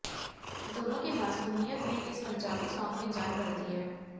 दोनों की मासूमियत ने इस पंजाबी सांग में जान भर दी है